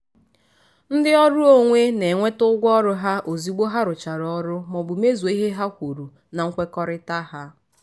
ndị ọrụ onwe na-enweta ụgwọ ọrụ ha ozigbo ha rụchara ọrụ ma ọ bụ mezuo ihe ha kwuru na nkwekọrịta ha.